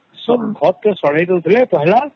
ଖତ କେ ସଢ଼େଇଦେଉଥିଲେ ଆଉ ହେଟାକେ